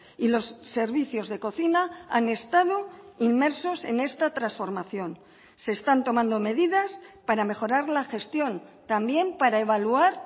y los servicios de cocina han estado inmersos en esta transformación se están tomando medidas para mejorar la gestión también para evaluar